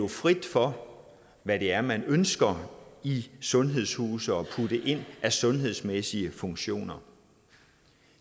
frit for at hvad det er man ønsker i sundhedshuse ønsker at putte ind af sundhedsmæssige funktioner